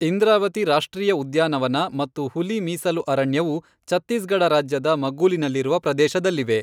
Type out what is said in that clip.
ಇಂದ್ರಾವತಿ ರಾಷ್ಟ್ರೀಯ ಉದ್ಯಾನವನ ಮತ್ತು ಹುಲಿ ಮೀಸಲು ಅರಣ್ಯವು ಛತ್ತೀಸ್ಗಢ ರಾಜ್ಯದ ಮಗ್ಗುಲಿನಲ್ಲಿರುವ ಪ್ರದೇಶದಲ್ಲಿವೆ.